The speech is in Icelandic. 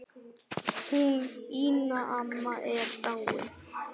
Hún Ína amma er dáin.